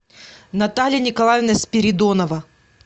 наталья николаевна спиридонова